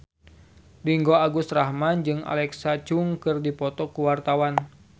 Ringgo Agus Rahman jeung Alexa Chung keur dipoto ku wartawan